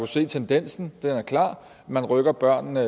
se tendensen den er klar man rykker børnene